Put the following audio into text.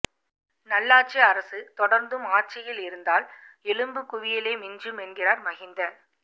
நல்லாட்சி அரசு தொடர்ந்தும் ஆட்சியில் இருந்தால் எலும்புக் குவியலே மிஞ்சும் என்கிறார் மஹிந்த